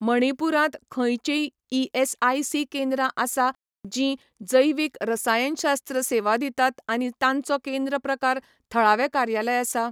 मणिपूरांत खंयचींय ईएसआयसी केंद्रां आसा जीं जैवीक रसायनशास्त्र सेवा दितात आनी तांचो केंद्र प्रकार थळावें कार्यालय आसा?